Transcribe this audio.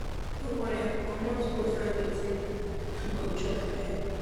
no worry i go comot go find wetin um you go chop you hear